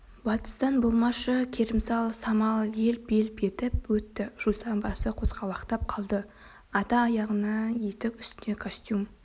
батыстан болмашы керімсал самал елп-елп етіп өтті жусан басы қозғалақтап қалды ата аяғына етік үстіне костюм